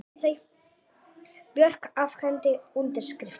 Björk afhenti undirskriftir